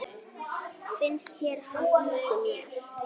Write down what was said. Finnst þér hann líkur mér?